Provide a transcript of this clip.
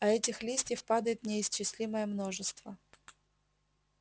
а этих листьев падает неисчислимое множество